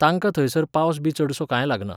तांकां थंयसर पावस बी चडसो कांय लागना.